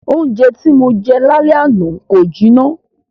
Oúnjẹ tí Mo jẹ l'álẹ́ àná kò jiná.